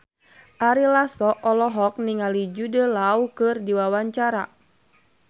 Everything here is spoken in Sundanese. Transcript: Ari Lasso olohok ningali Jude Law keur diwawancara